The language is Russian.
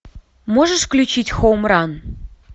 можешь включить хоум ран